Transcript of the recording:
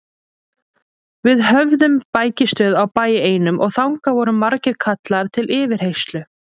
Við höfðum bækistöð á bæ einum og þangað voru margir kallaðir til yfirheyrslu.